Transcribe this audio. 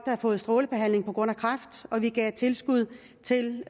havde fået strålebehandling på grund af kræft og at vi gav tilskud til